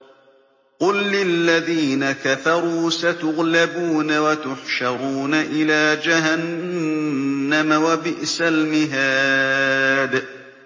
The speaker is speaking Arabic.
قُل لِّلَّذِينَ كَفَرُوا سَتُغْلَبُونَ وَتُحْشَرُونَ إِلَىٰ جَهَنَّمَ ۚ وَبِئْسَ الْمِهَادُ